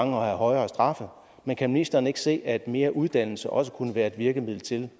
højere straffe men kan ministeren ikke se at mere uddannelse også kunne være et virkemiddel til